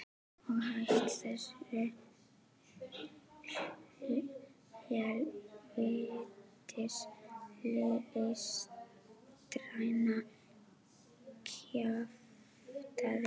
Og hætt þessu hel vítis listræna kjaftæði.